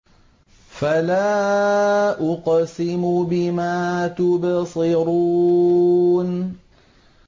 فَلَا أُقْسِمُ بِمَا تُبْصِرُونَ